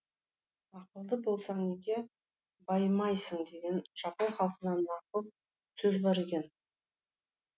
ақылды болсаң неге байымайсың деген жапон халқында нақыл сөз бар екен